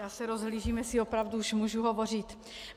Já se rozhlížím, jestli opravdu už můžu hovořit.